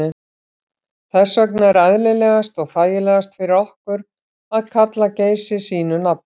Þess vegna er eðlilegast og þægilegast fyrir okkur að kalla Geysi sínu nafni.